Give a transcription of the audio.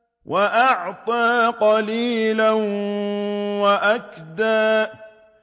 وَأَعْطَىٰ قَلِيلًا وَأَكْدَىٰ